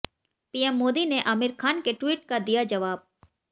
PM Modi ने आमिर खान के tweet का दिया जवाब